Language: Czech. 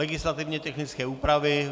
Legislativně technické úpravy.